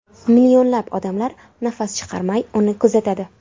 Millionlab odamlar nafas chiqarmay, uni kuzatadi.